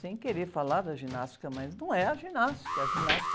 Sem querer falar da ginástica, mas não é a ginástica. A ginástica...